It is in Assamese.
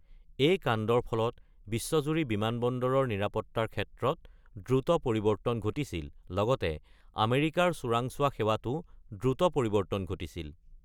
এই কাণ্ডৰ ফলত বিশ্বজুৰি বিমানবন্দৰৰ নিৰাপত্তাৰ ক্ষেত্ৰত দ্ৰুত পৰিৱৰ্তন ঘটিছিল, লগতে আমেৰিকাৰ চোৰাংচোৱা সেৱাতো দ্ৰুত পৰিৱৰ্তন ঘটিছিল।